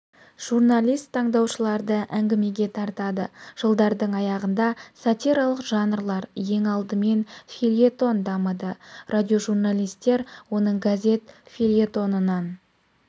журналист тыңдаушыларды әңгімеге тартады -жылдардың аяғында сатиралық жанрлар ең алдымен фельетон дамыды радиожурналистер оның газет фельетонынан